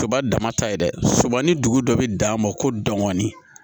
Kaba dama ta ye dɛ sɔba ni dugu dɔ bi dan ma ko dɔɔnin